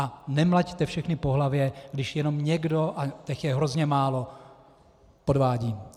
A nemlaťte všechny po hlavě, když jenom někdo, a těch je hrozně málo, podvádí.